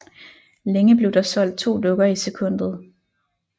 Længe blev der solgt to dukker i sekundet